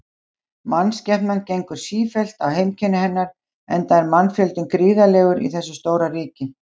Mannskepnan gengur sífellt á heimkynni hennar, enda er mannfjöldinn gríðarlegur í þessu stóra ríki.